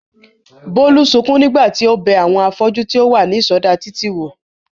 Bólú sukún nígbà tí ó bẹ àwọn afọ́jú tí ó wà ní ìsọdá títì wò